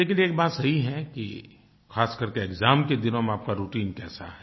लेकिन एक बात सही है कि खास कर के एक्साम के दिनों मे आप का राउटाइन कैसा है